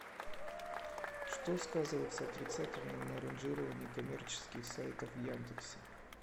что сказывается отрицательно на ранжирование коммерческих сайтов в яндексе